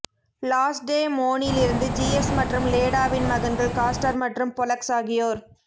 லாச்டேமோனிலிருந்து Zeus மற்றும் லேடாவின் மகன்கள் காஸ்டர் மற்றும் பொலக்ஸ் ஆகியோர்